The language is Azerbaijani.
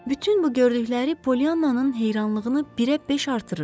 Bütün bu gördükləri Polyannanın heyranlığını birə beş artırırdı.